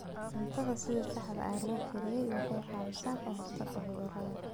Cuntada sida saxda ah loo kariyey waxay caawisaa ka hortagga cudurrada.